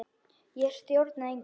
Ég stjórna engu.